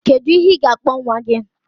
Kedu ihe ga-akpọ nwa gị?